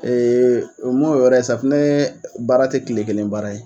o m'o yɔrɔ ye safinɛ baara tɛ tile kelen baara ye